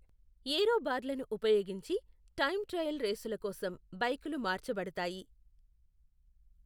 ఏరో బార్లను ఉపయోగించి, time trial రేసుల కోసం బైకులు మార్చబడతాయి.